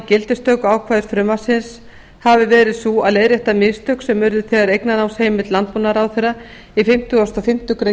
gildistökuákvæði frumvarpsins hafi verið sú að leiðrétta mistök sem urðu þegar eignarnámsheimild landbúnaðarráðherra í fimmtugasta og fimmtu grein